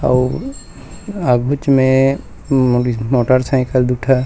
अउ आघु च में मोरीज मोटर साइकिल दु ठ--